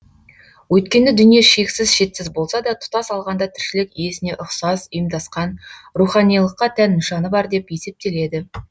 өйткені дүние шексіз шетсіз болса да тұтас алғанда тіршілік иесіне ұқсас ұйымдасқан руханилыққа тән нышаны бар деп есептеледі